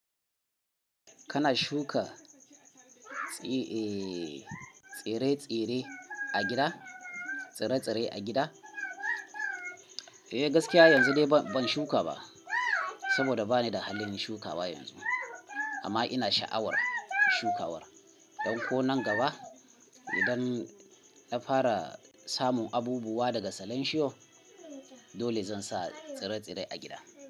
Kana shuka tsire-tsire a gida? Tsire-tsire a gida? Eh gaskiya yanzu dai ban shuka ba saboda bani da halin shukawa yanzu. Amma ina sha'awar shukawa. Ɗan ko nan gaba idan na fara samun abubuwa daga salenshiyo, dole zan sa tsire-tsire a gida.